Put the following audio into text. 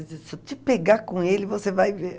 Se eu te pegar com ele, você vai ver.